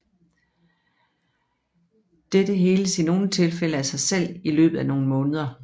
Dette heles i nogle tilfælde af sig selv i løbet af nogle måneder